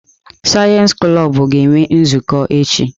Sayensị klọb ga-enwe nzukọ echi.